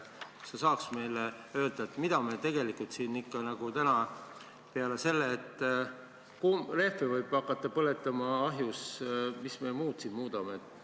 Kas sa saad meile öelda, mida me tegelikult siin ikka muudame peale selle, et rehve võib hakata ahjus põletama?